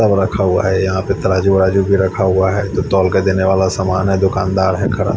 और रखा हुआ है यहा पे तराजू वराजू भी रखा हुआ है तोल के देने वाला सामान है दुकान दार है खड़ा --